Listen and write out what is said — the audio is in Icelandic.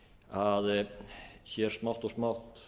að hér smátt og smátt